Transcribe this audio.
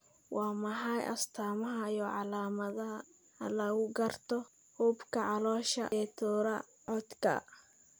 Waa maxay astamaha iyo calaamadaha lagu garto xuubka caloosha ee Thoracodka?